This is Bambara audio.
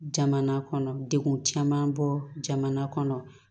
Jamana kɔnɔ degun caman bɔ jamana kɔnɔ